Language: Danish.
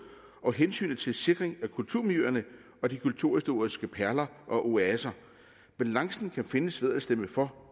og hensynet til sikring af kulturmiljøerne og de kulturhistoriske perler og oaser balancen kan findes ved at stemme for